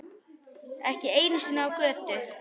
Ekki einu sinni á götu.